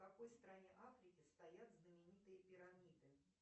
в какой стране африки стоят знаменитые пирамиды